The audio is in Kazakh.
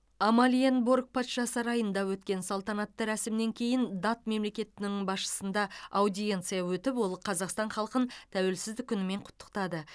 амалиенборг патша сарайында өткен салтанатты рәсімнен кейін дат мемлекетінің басшысында аудиенция өтіп ол қазақстан халқын тәуелсіздік күнімен құттықтады